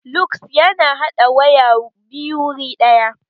Lug ya na haɗa waya biyu wuri ɗaya